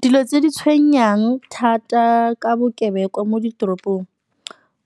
Dilo tse di tshwenyang thata ka bokebekwa mo ditoropong,